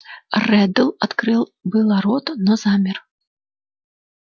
реддл открыл было рот но замер